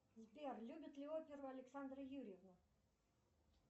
сбер любит ли оперу александра юрьевна